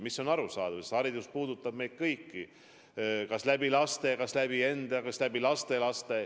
See on arusaadav, sest haridus puudutab meid kõiki kas läbi laste, kas läbi enda, kas läbi lastelaste.